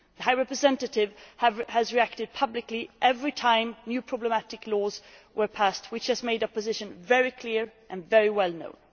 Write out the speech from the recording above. The High Representative has reacted publicly every time new problematic laws were passed, which has made our position very clear and very well known.